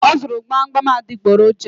O zụrụ gbamgbam adịgboroja